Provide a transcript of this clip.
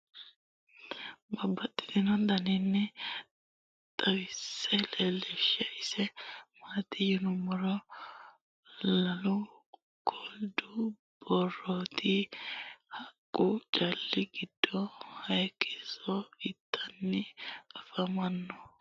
tenne misile aana noorina tini misile biiffanno garinni babaxxinno daniinni xawisse leelishanori isi maati yinummoro lalu kolidu barootti haqqu caali giddo hayiisso ittanni affamanno.